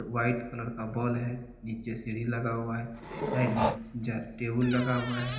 White colour का wall है। नीचे सीढ़ी लगा हुआ है। साइड में टेबुल लगा हुआ है।